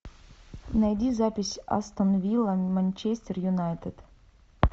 найди запись астон вилла манчестер юнайтед